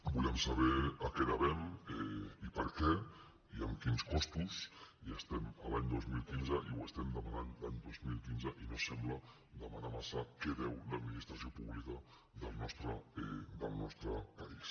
volem saber a què devem i per què i amb quins costos i estem a l’any dos mil quinze i ho estem demanant l’any dos mil quinze i no sembla demanar massa què deu l’administració pública del nostre país